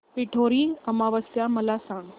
पिठोरी अमावस्या मला सांग